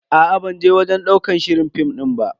Aa ban je wajen ɗaukar shirin fim din ba.